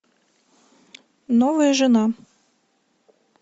новая жена